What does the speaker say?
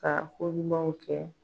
Ka koɲumanw kɛ